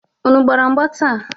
Unu gbara mgba taa?